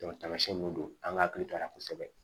tamasiyɛn mun don an ka hakili to a la kosɛbɛ